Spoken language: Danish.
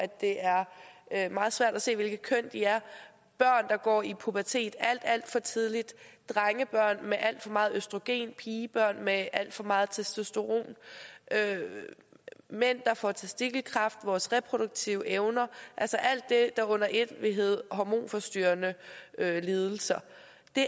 det er er meget svært at se hvilket køn de er børn der går i pubertet alt alt for tidligt drengebørn med alt for meget østrogen pigebørn med alt for meget testosteron mænd der får testikelkræft vores reproduktive evner alt det der under et vil hedde hormonforstyrrende lidelser